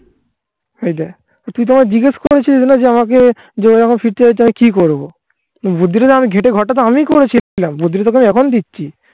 এই দেখ. তো তুই তো আমায় জিজ্ঞেস করেছিস না যে আমাকে জোড়া যখন ফিরতে হয় তাহলে কি করবো বুদ্ধিরাম ঘেটে ঘরটাতো আমিই করেছিলাম. বুদ্ধিটা তোকে আমি এখন দিচ্ছি.